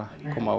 koma